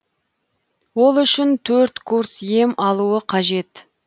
ол үшін төрт курс ем алуы қажет